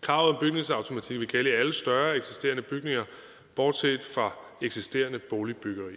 kravet om bygningsautomatik vil gælde i alle større eksisterende bygninger bortset fra eksisterende boligbyggeri